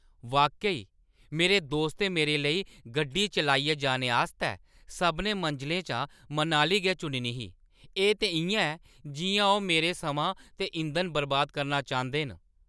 वाकई, मेरे दोस्तें मेरे लेई गड्डी चलाइयै जाने आस्तै सभनें मंजलें चा मनाली गै चुननी ही? एह् ते इʼयां ऐ जिʼयां ओह् मेरा समां ते इंधन बर्बाद करना चांह्‌दे न!